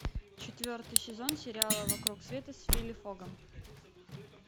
четвертый сезон сериала вокруг света с вилли фогом